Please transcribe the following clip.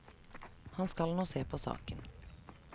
Han skal nå se på saken.